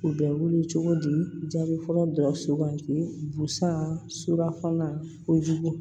U bɛ wele cogo di jaabi fɔlɔ dɔrɔn sugandi busan suranfolan kojugu